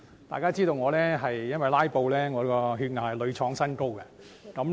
大家都知道，"拉布"令我的血壓屢創新高。